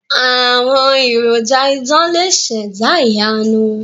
Àwọn èròjà idán lè ṣẹ̀dá ìyanu.